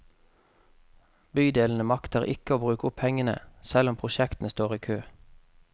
Bydelene makter ikke bruke opp pengene, selv om prosjektene står i kø.